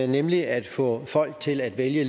nemlig at få folk til at vælge